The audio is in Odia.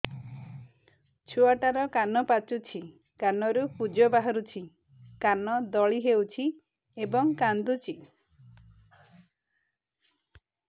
ଛୁଆ ଟା ର କାନ ପାଚୁଛି କାନରୁ ପୂଜ ବାହାରୁଛି କାନ ଦଳି ହେଉଛି ଏବଂ କାନ୍ଦୁଚି